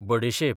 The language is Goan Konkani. बडेशेप